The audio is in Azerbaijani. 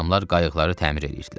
Adamlar qayıqları təmir eləyirdilər.